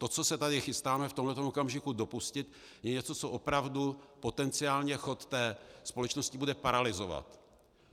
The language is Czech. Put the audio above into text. To, co se tady chystáme v tomto okamžiku dopustit, je něco, co opravdu potenciálně chod té společnosti bude paralyzovat.